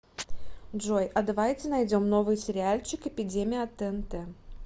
джой а давайте найдем новый сериальчик эпидемия от тнт